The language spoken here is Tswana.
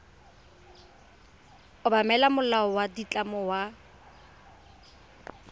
obamela molao wa ditlamo wa